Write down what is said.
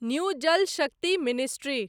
new Jal Shakti ministry